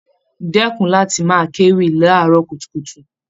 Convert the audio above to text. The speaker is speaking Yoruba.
Dẹkùn láti máa kéwì laarọ kutukutu!